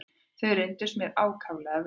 Þau reyndust mér ákaflega vel.